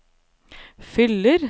fyller